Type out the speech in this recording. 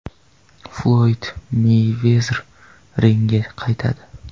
Floyd Meyvezer ringga qaytadi.